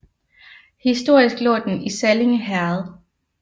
Historisk lå den i Sallinge Herred